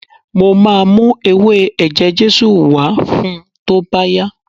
Mo máa mú ewé ẹ̀jẹ̀ Jésù wá fun tó bá yá.